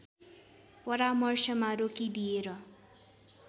परामर्शमा रोकिदिएर